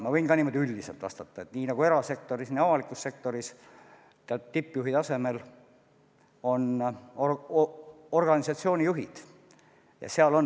Ma võin ka niimoodi üldiselt vastata, et nii nagu erasektoris, on ka avalikus sektoris organisatsiooni juhid tippjuhi tasemel.